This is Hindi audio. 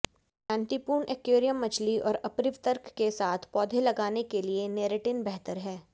शांतिपूर्ण एक्वैरियम मछली और अपरिवर्तक के साथ पौधे लगाने के लिए नेरेटिन बेहतर है